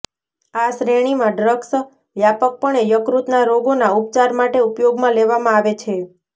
આ શ્રેણીના ડ્રગ્સ વ્યાપકપણે યકૃતના રોગોના ઉપચાર માટે ઉપયોગમાં લેવામાં આવે છે